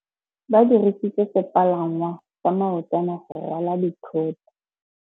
Ba dirisitse sepalangwasa maotwana go rwala dithôtô.